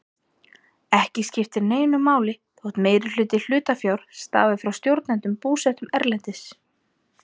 Ekki skiptir neinu máli þótt meirihluti hlutafjár stafi frá stofnendum búsettum erlendis.